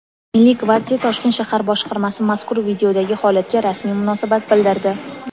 Milliy gvardiya Toshkent shahar boshqarmasi mazkur videodagi holatga rasmiy munosabat bildirdi.